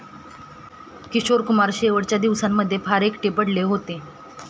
किशोर कुमार शेवटच्या दिवसांमध्ये फार एकटे पडले होते